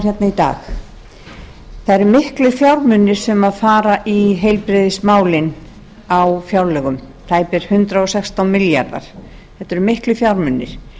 í dag það eru miklir fjármunir sem fara í heilbrigðismálin á fjárlögum tæpir hundrað og sextán milljarðar þetta eru miklir fjármunir